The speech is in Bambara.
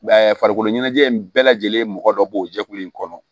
farikolo ɲɛnajɛ in bɛɛ lajɛlen mɔgɔ dɔ b'o jɛkulu in kɔnɔ